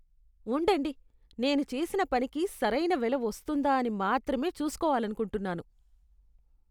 ఉండండి, నేను చేసిన పనికి సరైన వెల వస్తోందా అని మాత్రమే చూసుకోవాలనుకుంటున్నాను.